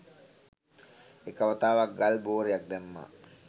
එක වතාවක් ගල් බොරයක් දැම්මා